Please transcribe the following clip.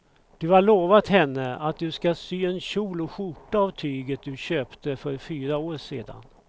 Du har lovat henne att du ska sy en kjol och skjorta av tyget du köpte för fyra år sedan.